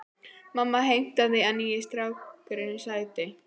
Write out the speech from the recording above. Mamma heimtaði að nýi strákurinn sæti.